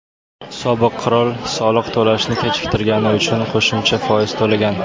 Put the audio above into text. sobiq qirol soliq to‘lashni kechiktirgani uchun qo‘shimcha foiz ham to‘lagan.